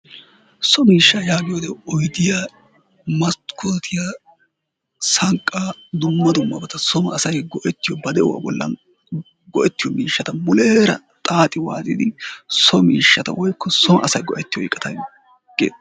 So miishshaa yaagiyoogee oydiya, maskkottiya, sanqqaa, dumma dummabata soon asay go''ettiyo ba de'uwa bollan go''ettiyo miishshata, muuleera xaaxi waaxidi so miishshata woykko son asay go''ettiyo iqqata ge'ettee...